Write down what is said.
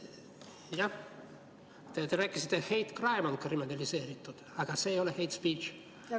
Jah, te rääkisite, et hate crime on kriminaliseeritud, aga see ei ole hate speech.